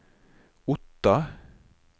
Otta